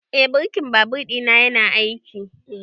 Eh birkin babur ɗina yana aiki